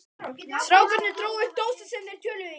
Strákarnir drógu upp dósir sem þeir töluðu í.